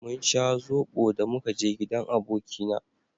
mun sha zobo da muka je gidan abokina